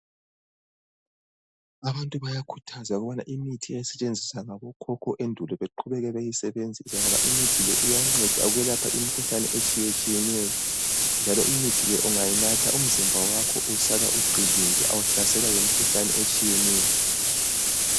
Abantu bayakhuthazwa ukuthi imithi eyayisetshenziswa ngabokhokho endulo beqhubeke beyisebenzisa ngoba imithi le iyanceda ukwelapha imikhuhlane etshiyetshiyeneyo njalo imithi le ungayinatha umzimba wakho usala uqinile awuhlaselwa yimikhuhlane etshiyeneyo.